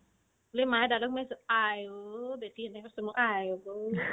বুলি মায়ে দাদাক মাতিছে আইঐ বেটি এনেকে চুমা খাই আইঐ তো